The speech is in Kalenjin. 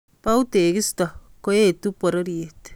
Bou tekisto koetu pororiet